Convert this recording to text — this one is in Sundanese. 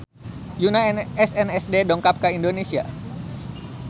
Yoona SNSD dongkap ka Indonesia